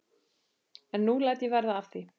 En nú læt ég verða af því.